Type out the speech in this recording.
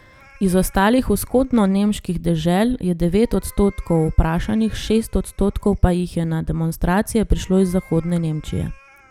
Iz ostalih vzhodnonemških dežel je devet odstotkov vprašanih, šest odstotkov pa jih je na demonstracije prišlo iz zahodne Nemčije.